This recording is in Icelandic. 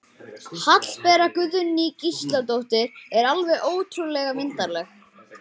Hallbera Guðný Gísladóttir er alveg ótrúlega myndarleg